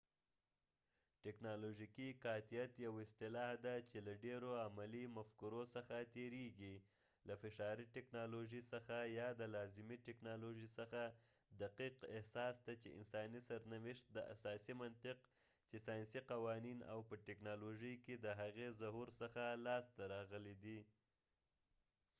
ټکنالوژيکي قاطعیت یو اصلاح ده چې له ډيرو عملي مفکورو څخه تیرېږي له فشاري ټکنالوژي څخه یا د لازمي ټکنالوژۍ څخه دقیق احساس ته چې انساني سرنوشت د اساسي منطق چې سایسني قوانین او په ټکنالوژۍ کې د هغې ظهور څخه لاسته راغلی دی